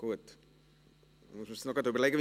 Ist dies richtig?